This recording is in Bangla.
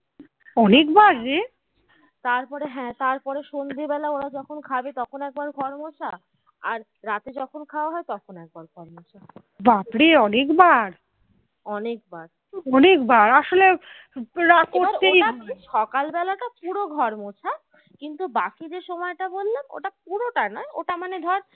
সকালবেলাটা পুরো ঘর মোছা কিন্তু বাকি যে সময় তা বললাম সেটা পুরোটা নয় ওটা মানে ধরে